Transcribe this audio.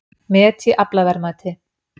Met í aflaverðmæti